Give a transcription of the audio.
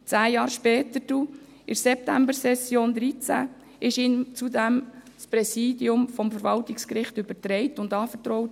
Zehn Jahre später, in der Septembersession 2013, wurde ihm zudem das Präsidium des Verwaltungsgerichts übertragen und anvertraut.